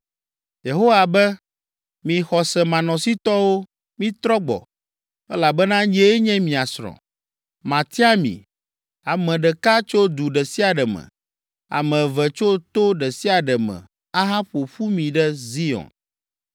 Yehowa be, “Mi xɔsemanɔsitɔwo, mitrɔ gbɔ, elabena nyee nye mia srɔ̃. Matia mi, ame ɖeka tso du ɖe sia ɖe me, ame eve tso to ɖe sia ɖe me ahaƒo ƒu mi ɖe Zion.